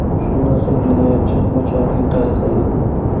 Shundan so‘ng jinoyatchi o‘z joniga qasd qildi.